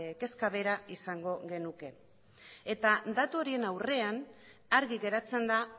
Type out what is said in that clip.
kezka bera izango genuke eta datu horien aurrean argi geratzen da